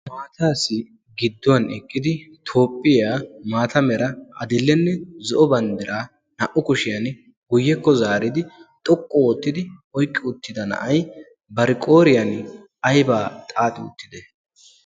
Maataassi gidduwan eqqidi toophphiyaa maata mera adillenne zo'o banddiraa naa"u kushiyan guyyekko zaaridi xoqqu oottidi oyqqi uttida na'ay barqooriyan aybaa xaaxi uttide?